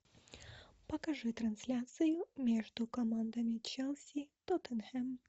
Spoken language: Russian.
покажи трансляцию между командами челси тоттенхэм